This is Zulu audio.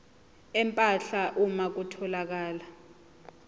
empahla uma kutholakala